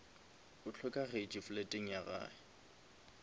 o hlokagetše fleteng ya gage